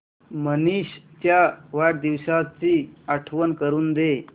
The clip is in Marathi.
मनीष च्या वाढदिवसाची आठवण करून दे